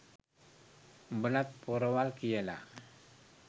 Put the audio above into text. උඹලත් පොරවල් කියලා